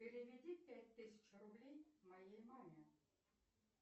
переведи пять тысяч рублей моей маме